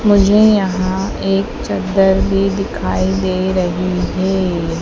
मुझे यहां एक चद्दर भी दिखाई दे रही है।